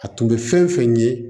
A tun bɛ fɛn fɛn ye